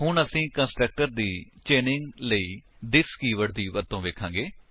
ਹੁਣ ਅਸੀ ਕੰਸਟਰਕਟਰ ਦੀ ਚੇਨਿੰਗ ਲਈ ਥਿਸ ਕੀਵਰਡ ਦੀ ਵਰਤੋ ਵੇਖਾਂਗੇ